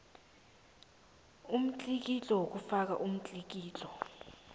umtlikitlo womfakisibawo umtlikitlo